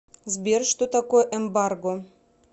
сбер что такое эмбарго